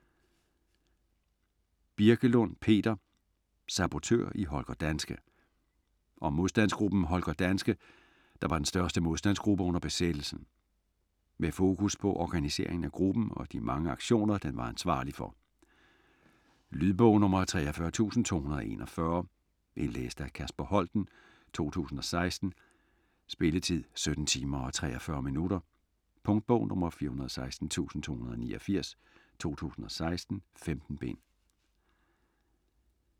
Birkelund, Peter: Sabotør i Holger Danske Om modstandsgruppen Holger Danske, der var den største modstandsgruppe under besættelsen. Med fokus på organiseringen af gruppen og de mange aktioner, den var ansvarlig for. Lydbog 43241 Indlæst af Kasper Holten, 2016. Spilletid: 17 timer, 43 minutter. Punktbog 416289 2016. 15 bind.